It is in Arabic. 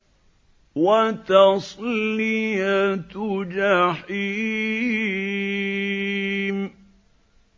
وَتَصْلِيَةُ جَحِيمٍ